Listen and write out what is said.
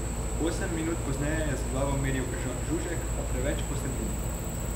Osem minut pozneje je z glavo meril Žan Žužek, a preveč po sredini.